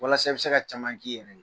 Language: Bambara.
Walasa i be se ka caman k'i yɛrɛ ye.